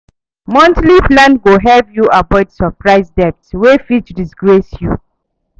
Monthly plan go help you avoid surprise debt wey fit disgrace you.